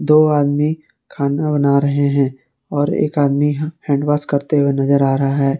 दो आदमी खाना बना रहे हैं और एक आदमी यहां हैंड वॉश करते हुए नजर आ रहा है।